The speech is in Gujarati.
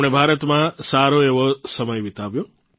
તેમણે ભારતમાં સારો એવો સમય વિતાવ્યો